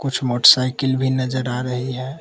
कुछ मोटरसाइकिल भी नजर आ रही है।